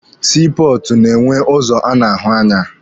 Sii pọọtụ na-enwe ụzọ a na-ahụ anya.